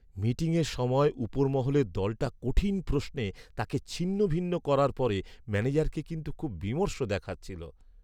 মিটিংয়ের সময় উপরমহলের দলটা কঠিন প্রশ্নে তাঁকে ছিন্নভিন্ন করার পরে ম্যানেজারকে কিন্তু খুব বিমর্ষ দেখাচ্ছিল।